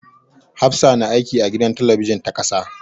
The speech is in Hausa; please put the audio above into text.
Hafsah na aiki a gidan talabijin ta ƙasa.